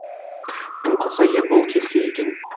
тым құрса ербол келсе екен